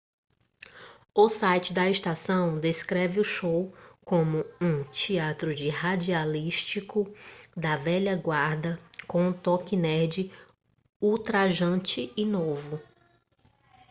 o site da estação descreve o show como um teatro de radialístico da velha guarda com um toque nerd ultrajante e novo